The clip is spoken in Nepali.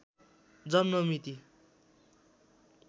जन्म मिति